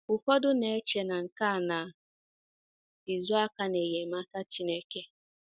Ụfọdụ na - eche na nke a na - ezo aka n’enyemaka Chineke.